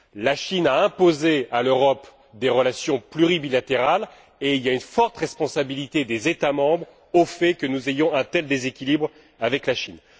La Chine a imposé à l'Europe des relations pluribilatérales, et il y a une forte responsabilité des États membres quant au fait que nous ayons un tel déséquilibre avec la Chine.